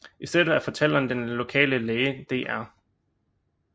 I stedet er fortælleren den lokale læge dr